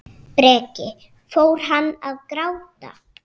Breki: Fór hann að gráta?